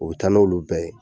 U be taa n'olu bɛɛ ye.